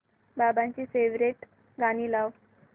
बाबांची फेवरिट गाणी लाव